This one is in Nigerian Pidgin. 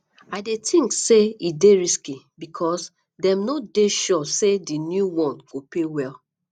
i dey think say e dey risky because dem no dey sure say di new one go pay well